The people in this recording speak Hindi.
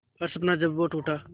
हर सपना जब वो टूटा